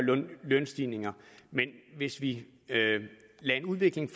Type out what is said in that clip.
lønstigninger hvis vi lader en udvikling